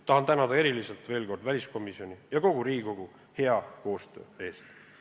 Tahan veel kord eriti tänada väliskomisjoni ja kogu Riigikogu hea koostöö eest.